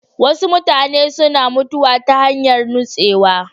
Wasu mutane suna mutuwa ta hanyar nutsewa.